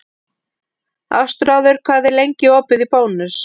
Ástráður, hvað er lengi opið í Bónus?